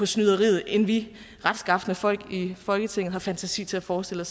snyderiet end vi retskafne folk i folketinget har fantasi til at forestille